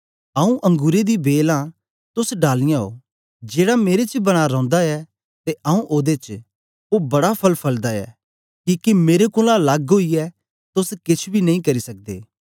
आऊँ अंगुरें दी बेल आं तोस डालियाँ ओ जेड़ा मेरे च बना रौंदा ऐ ते आऊँ ओदे च ओ बड़ा फल फलदा ऐ किके मेरे कोलां लग्ग ओईयै तोस केछ बी नेई करी सकदे